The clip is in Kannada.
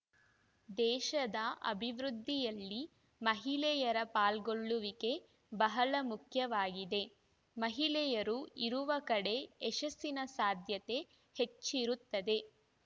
ದೇಶದ ಅಭಿವೃದ್ಧಿಯಲ್ಲಿ ಮಹಿಳೆಯರ ಪಾಲ್ಗೊಳ್ಳುವಿಕೆ ಬಹಳ ಮುಖ್ಯವಾಗಿದೆ ಮಹಿಳೆಯರು ಇರುವ ಕಡೆ ಯಶಸ್ಸಿನ ಸಾಧ್ಯತೆ ಹೆಚ್ಚಿರುತ್ತದೆ